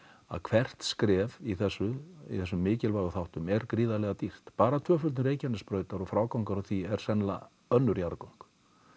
að hvert skref í þessum í þessum mikilvægu þáttum er gríðarlega dýrt bara tvöföldun Reykjanesbrautar og frágangur á því er sennilega önnur jarðgöng